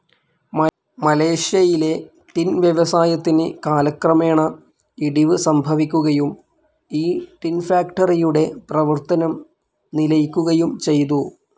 മലേഷ്യയിലെ ടിൻ വ്യവസായത്തിന് കാലക്രമേണ ഇടിവ് സംഭവിക്കുകയും ഈ ടിൻ ഫാക്ടറിയുടെ പ്രവർത്തനം നിലയ്ക്കുകയും ചെയ്തു.